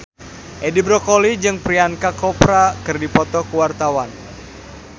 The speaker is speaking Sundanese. Edi Brokoli jeung Priyanka Chopra keur dipoto ku wartawan